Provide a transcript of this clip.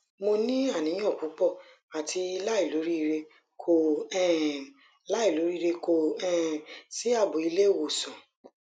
mo ni aniyan pupo ati lailoriire ko um lailoriire ko um si abo ile iwosan